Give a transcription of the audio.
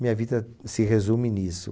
Minha vida se resume nisso.